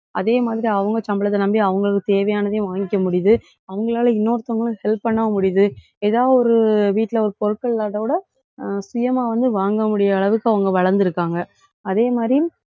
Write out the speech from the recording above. அதே மாதிரி, அவங்க சம்பளத்தை நம்பி அவங்களுக்கு தேவையானதையும் வாங்கிக்க முடியுது. அவங்களால இன்னொருத்தவங்களும் help பண்ணவும் முடியுது. ஏதாவது ஒரு வீட்டுல ஒரு பொருட்கள் இல்லாததை விட ஆஹ் சுயமா வந்து வாங்க முடியா~ அளவுக்கு அவங்க வளர்ந்திருக்காங்க. அதே மாதிரி,